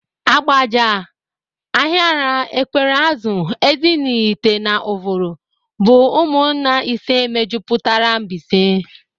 Ágbàjà, Áhịrà, Ékwéréazụ̀, Ézịnaị̀hite na Ụ̀vụ̀rụ̀ bụ ụmụnna ise mejupụtara Mbaise.